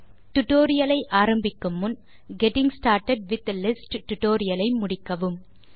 tutorial ஐ ஆரம்பிக்கும் முன் getting started with lists tutorial ஐ முடிக்கவும்